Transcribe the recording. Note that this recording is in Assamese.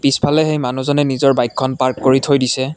পিছফালে সেই মনুজনে নিজৰ বাইকখন পাৰ্ক কৰি থৈ দিছে।